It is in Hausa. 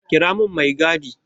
Kira mun mai gadi!